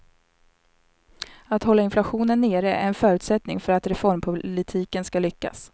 Att hålla inflationen nere är en förutsättning för att reformpolitiken skall lyckas.